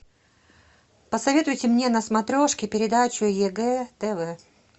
посоветуйте мне на смотрешке передачу егэ тв